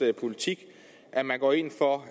politik at man går ind for at